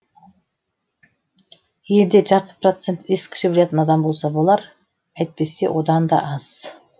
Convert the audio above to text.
елінде жарты процент ескіше білетін адам болса болар әйтпесе одан да аз